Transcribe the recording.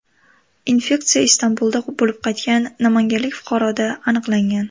Infeksiya Istanbulda bo‘lib qaytgan namanganlik fuqaroda aniqlangan.